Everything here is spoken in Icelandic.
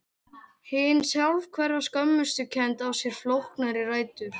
hin sjálfhverfa skömmustukennd á sér flóknari rætur